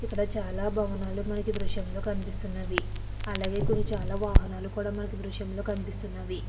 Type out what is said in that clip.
ఇక్కడ చాల భావనలు మనకి ఈ దృశ్యంలో కనిపిస్తున్నది అలాగే చాలా వాహనాలు కూడా కనిపిస్తున్నవి.